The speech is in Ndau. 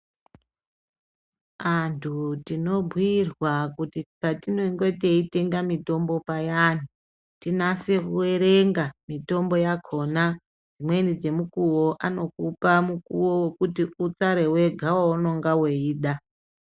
Antu tinobhuyirwa kuti patinenge teitenga mitombo payani tinase kuerenga mitombo yakona dzimweni dzemikuwo anokupa mukuwo wekuti utsare wega waunenge weida.